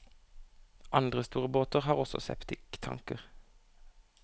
Andre store båter har også septiktanker.